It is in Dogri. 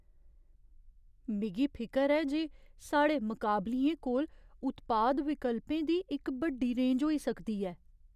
मिगी फिकर ऐ जे साढ़े मकाबलियें कोल उत्पाद विकल्पें दी इक बड्डी रेंज होई सकदी ऐ।